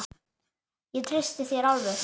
Ég treysti þér alveg!